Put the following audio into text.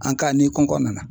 ni kɔnkɔ nana.